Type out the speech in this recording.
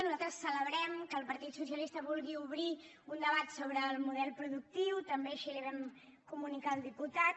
nosaltres celebrem que el partit socialista vulgui obrir un debat sobre el model productiu també així li ho vam comunicar al diputat